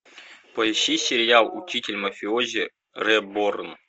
поищи сериал учитель мафиози реборн